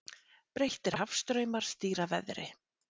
Breyttir hafstraumar stýra veðri